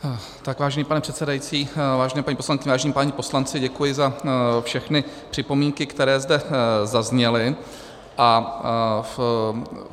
Vážený pane předsedající, vážené paní poslankyně, vážení páni poslanci, děkuji za všechny připomínky, které zde zazněly.